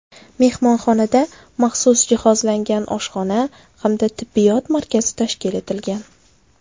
Mehmonxonada maxsus jihozlangan oshxona hamda tibbiyot markazi tashkil etilgan.